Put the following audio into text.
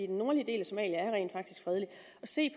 den nordlige del af somalia at se